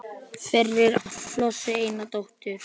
Fyrir átti Flosi eina dóttur